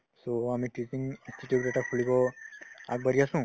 so, আমি tuition institute এটা খুলিব আগবাঢ়ি আছো